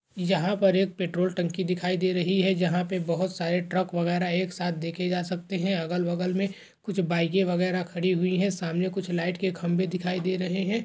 यंहा पर एक पेट्रोल टंकी दिखाई दे रही है जहां पर बहुत सारे ट्रक वगैरह एक साथ देखे जा सकते हैं अगल-बगल में कुछ बाईके वगैरह खड़ी हुई है। सामने कुछ लाइट के खंभे दिखाई दे रहे हैं।